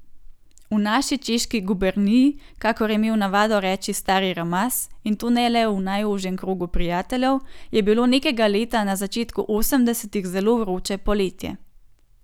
V naši Češki guberniji, kakor je imel navado reči stari Ramaz, in to ne le v najožjem krogu prijateljev, je bilo nekega leta na začetku osemdesetih zelo vroče poletje.